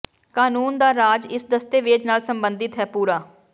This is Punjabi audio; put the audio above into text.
ਕਾਨੂੰਨ ਦਾ ਰਾਜ ਇਸ ਦਸਤਾਵੇਜ਼ ਨਾਲ ਸਬੰਧਿਤ ਹੈ ਪੂਰਾ